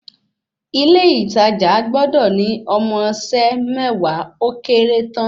Ilé ìtajà gbọ́dọ̀ ní ọmọ iṣẹ́ mẹ́wàá ó kéré tán